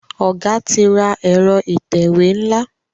Oga tí ra Ẹ̀rọ ìtẹ̀wé nla.